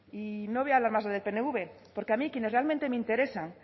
y no voy a hablar más del pnv porque a mí quienes realmente me interesan